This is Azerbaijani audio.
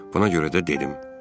Buna görə də dedim.